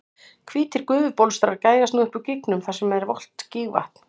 Hvítir gufubólstrar gægjast upp úr gígnum þar sem nú er volgt gígvatn.